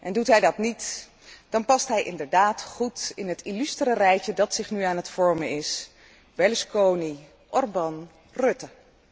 Doet hij dat niet, dan past hij inderdaad goed in het illustere rijtje dat zich nu aan het vormen is Berlusconi, Orban, Rutte.